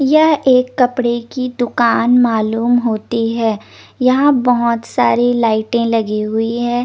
यहाँ एक कपडे की दूकान मालूम होती है यहाँ बहोत सारी लाइटे लगी हुई है।